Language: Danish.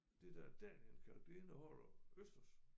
Det der danienkalk det indeholder østers